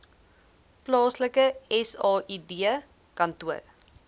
plaaslike said kantoor